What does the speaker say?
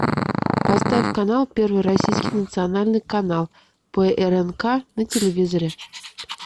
поставь канал первый российский национальный канал прнк на телевизоре